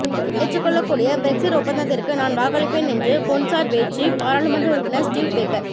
ஏற்றுக்கொள்ளக்கூடிய பிரெக்ஸிற் ஒப்பந்தத்திற்கு நான் வாக்களிப்பேன் என்று கொன்சர்வேற்றிவ் பாராளுமன்ற உறுப்பினர் ஸ்டீவ் பேக்கர்